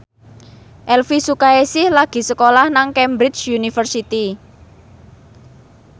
Elvy Sukaesih lagi sekolah nang Cambridge University